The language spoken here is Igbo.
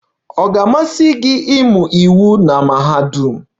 Ọ ga-amasị gị ịmụ iwu na mahadum?